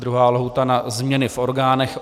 Druhá lhůta na změny v orgánech.